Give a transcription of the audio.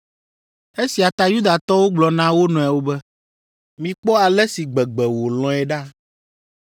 Esia ta Yudatɔwo gblɔ na wo nɔewo be, “Mikpɔ ale si gbegbe wòlɔ̃e ɖa?”